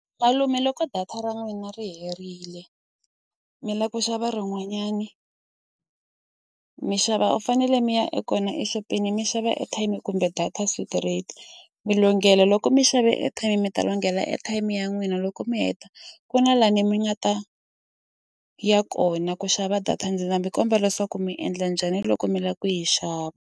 Malume loko data ra n'wina ri herile mi la ku xava rin'wanyani mi xava u fanele mi ya e kona exopeni mi xava airtime kumbe data straight mi longela loko mi xave airtime mi ta longela airtime ya n'wina loko mi heta ku na lani mi nga ta ya kona ku xava data ndzi ta mi kombela leswaku mi endla njhani loko mi lava ku yi xava.